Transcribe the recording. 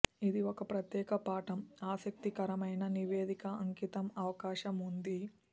ఇది ఒక ప్రత్యేక పాఠం ఆసక్తికరమైన నివేదిక అంకితం అవకాశం ఉంది